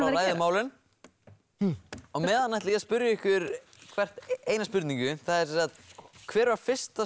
ræðið málin á meðan ætla ég að spyrja ykkur hvert einnar spurningar hver var fyrsta